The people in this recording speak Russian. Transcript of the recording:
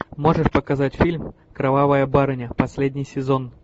можешь показать фильм кровавая барыня последний сезон